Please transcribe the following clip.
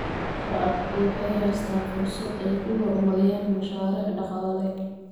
Shacabku waxay haystaan ??fursad ay ku horumariyaan mashaariic dhaqaale.